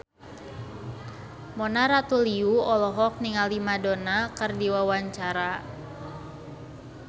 Mona Ratuliu olohok ningali Madonna keur diwawancara